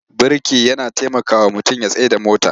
Birki yana tamakawa mutum ya tsayar da mota.